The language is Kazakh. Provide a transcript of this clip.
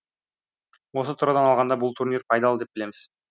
осы тұрғыдан алғанда бұл турнир пайдал деп білеміз